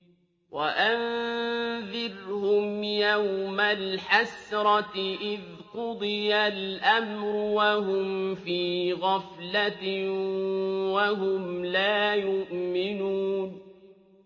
وَأَنذِرْهُمْ يَوْمَ الْحَسْرَةِ إِذْ قُضِيَ الْأَمْرُ وَهُمْ فِي غَفْلَةٍ وَهُمْ لَا يُؤْمِنُونَ